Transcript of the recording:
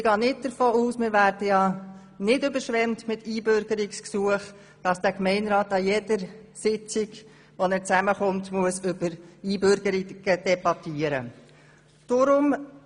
Weil wir ja nicht mit Einbürgerungsgesuchen überschwemmt werden, gehe ich nicht davon aus, dass der Gemeinderat an jeder seiner Sitzungen über Einbürgerungen debattieren muss.